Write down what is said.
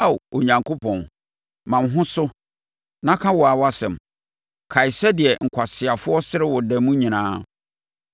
Ao Onyankopɔn, ma wo ho so na ka wo ara wʼasɛm; kae sɛdeɛ nkwaseafoɔ sere wo da mu nyinaa.